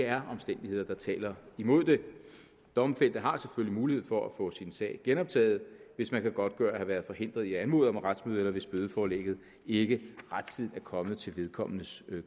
er omstændigheder der taler imod det domfældte har selvfølgelig mulighed for at få sin sag genoptaget hvis man kan godtgøre at have været forhindret i at anmode om et retsmøde eller hvis bødeforlægget ikke rettidigt er kommet til vedkommendes